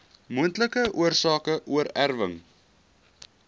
moontlike oorsake oorerwing